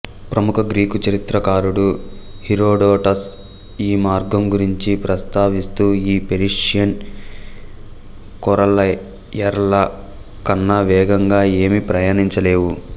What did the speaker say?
ప్రముఖ గ్రీకు చరిత్రకారుడు హీరోడొటస్ ఈ మార్గం గురించి ప్రస్తావిస్తూ ఈ పెర్షియన్ కొరయర్ల కన్నా వేగంగా ఏమీ ప్రయాణించలేవు